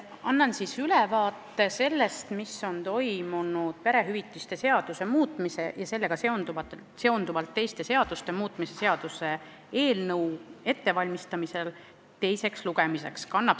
Annan ülevaate sellest, mis toimus perehüvitiste seaduse muutmise ja sellega seonduvalt teiste seaduste muutmise seaduse eelnõu ettevalmistamisel teiseks lugemiseks.